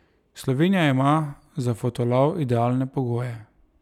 Slovenija ima za fotolov idealne pogoje.